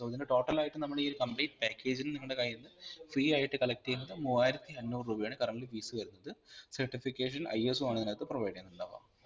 so ഇതിൻറെ total ആയിട്ട് നമ്മൾ ഈ ഒരു complete package ന്ന് നിങ്ങടെ കയ്യിന്ന് fee ആയിട്ട് collect ചെയ്യുന്നത് മൂവ്വായിരത്തി അഞ്ഞൂറ് രൂപയാണ് currently fees വരുന്നത് certificationISO ആണ് ഇതിനാകത്തു provide ചെയ്യുന്നുണ്ടാവ.